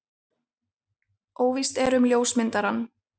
Óvíst er um ljósmyndarann.